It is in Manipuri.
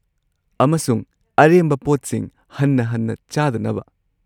ꯑꯃꯁꯨꯡ ꯑꯔꯦꯝꯕ ꯄꯣꯠꯁꯤꯡ ꯍꯟꯅ-ꯍꯟꯅ ꯆꯥꯗꯅꯕ꯫